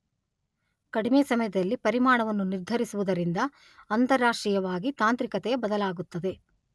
ಕಡಿಮೆ ಸಮಯದಲ್ಲಿ ಪರಿಮಾಣವನ್ನು ನಿರ್ಧರಿಸುವುದರಿಂದ ಅಂತಾರಾಷ್ಟ್ರೀಯವಾಗಿ ತಾಂತ್ರಿಕತೆಯ ಬದಲಾಗುತ್ತದೆ.